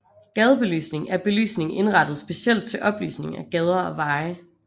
Gadebelysning er belysning indrettet specielt til oplysning af gader og veje